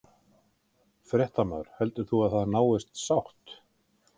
Fréttamaður: Heldur þú að það náist sátt?